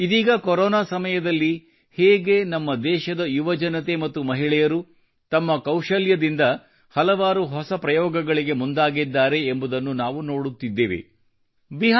ಇದೀಗ ಕೊರೊನಾ ಸಮಯದಲ್ಲಿ ಹೇಗೆ ನಮ್ಮ ದೇಶದ ಯುವಜನತೆ ಮತ್ತು ಮಹಳೆಯರು ತಮ್ಮ ಕೌಶಲ್ಯದಿಂದ ಕೆಲವಾರು ಹೊಸ ಪ್ರಯೋಗಗಳಿಗೆ ಮುಂದಾಗಿದ್ದಾರೆ ಎಂಬುದನ್ನು ನಾವು ನೋಡುತ್ತಿದ್ದೇವೆಕಾಣುತ್ತಿದ್ದೇವೆ